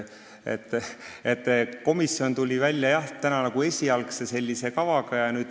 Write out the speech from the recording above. Jah, komisjon tuli täna välja esialgse kavaga.